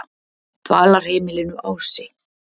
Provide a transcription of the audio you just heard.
Dvalarheimilinu Ási